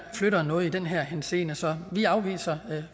flytter noget i den her henseende så vi afviser